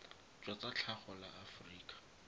jwa tsa tlhago la aforika